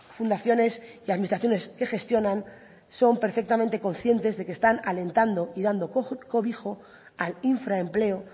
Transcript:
fundaciones y administraciones que gestionan son perfectamente conscientes de que están alentando y dando cobijo al infra empleo